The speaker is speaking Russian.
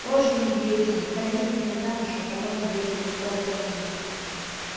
тоже мне деятель выходи за меня замуж а потом я тебе скоро позвоню